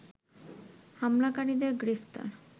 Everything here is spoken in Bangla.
হামলাকারীদের গ্রেপ্তার